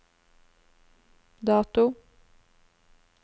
dato